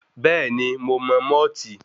Bẹ́ẹ̀ni, mo mọ mọ́ọ̀tì.